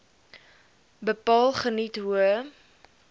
bepaal geniet hoë